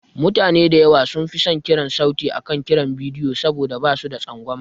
Mutane da yawa sun fi son kiran sauti akan kiran bidiyo saboda ba su da tsangwama.